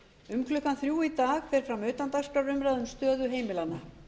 um klukkan þrjú í dag fer fram utandagskrárumræða um stöðu heimilanna